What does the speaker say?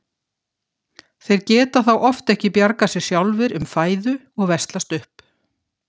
Þeir geta þá oft ekki bjargað sér sjálfir um fæðu og veslast upp.